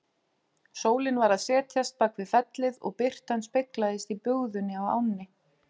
Sólin var að setjast bak við fellið og birtan speglaðist í bugðunni á ánni.